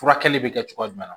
Furakɛli bɛ kɛ cogoya jumɛn na